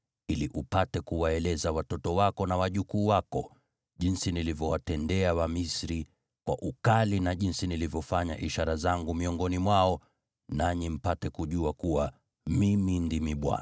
ili upate kuwaeleza watoto wako na wajukuu wako jinsi nilivyowatendea Wamisri kwa ukali na jinsi nilivyofanya ishara zangu miongoni mwao, nanyi mpate kujua kuwa Mimi ndimi Bwana .”